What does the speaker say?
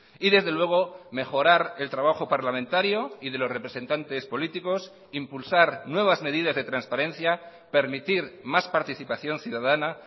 y desde luego mejorar el trabajo parlamentario y de los representantes políticos impulsar nuevas medidas de transparencia permitir más participación ciudadana